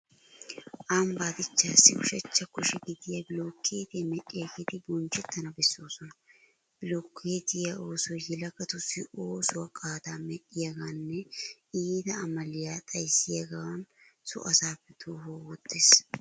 Ambbaa dichchaassi ushachcha kushe gidiya bilookkeetiya medhdhiyageeti bonchchettana bessoosona. Bilookkeetiy oosoy yelagatussi oosuwa qaadaa medhdhiyogaaninne iita amaliya xayssiyogan so asaappe toohuwa wottees.